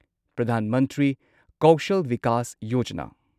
Pradhan Mantri Kaushal Vikas Yojana